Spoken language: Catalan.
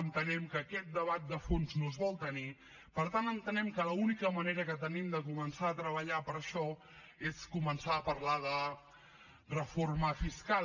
entenem que aquest debat de fons no es vol tenir per tant entenem que l’única manera que tenim de començar a treballar per això és començar a parlar de reforma fiscal